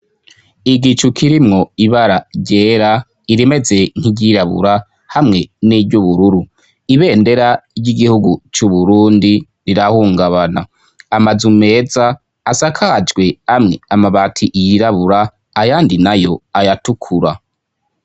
igicu kirimwo ibara ryera irimeze nk'iryirabura hamwe n'iry'ubururu ibendera ry'igihugu c'uburundi rirahungabana amazu meza asakajwe amwe amabati yirabura ayandi nayo ayatukura